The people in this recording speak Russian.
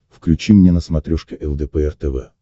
включи мне на смотрешке лдпр тв